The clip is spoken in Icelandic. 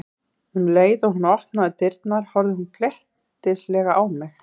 Um leið og hún opnaði dyrnar horfði hún glettnislega á mig.